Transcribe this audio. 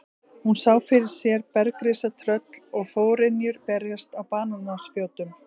Hún sá fyrir sér bergrisa, tröll og forynjur berast á banaspjótum.